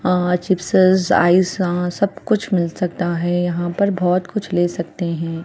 अ चिपसेस आइस यहाँ सब कुछ मिल सकता है यहाँ पर बहुत कुछ ले सकते है।